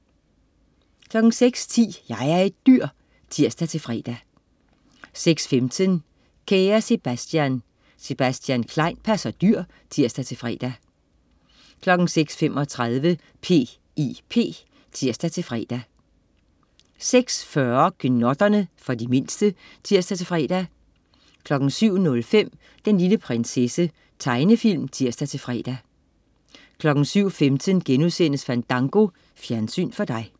06.10 Jeg er et dyr! (tirs-fre) 06.15 Kære Sebastian. Sebastian Klein passer dyr (tirs-fre) 06.35 P.I.P (tirs-fre) 06.40 Gnotterne. For de mindste (tirs-fre) 07.05 Den lille prinsesse. Tegnefilm (tirs-fre) 07.15 Fandango.* Fjernsyn for dig